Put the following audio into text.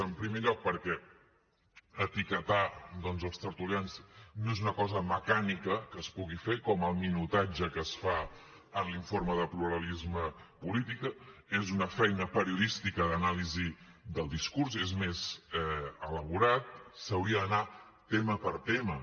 en primer lloc perquè etiquetar doncs els tertulians no és una cosa mecànica que es pugui fer com el minutatge que es fa en l’informe de pluralisme polític és una feina periodística d’anàlisi del discurs és més elaborat s’hauria d’anar tema per tema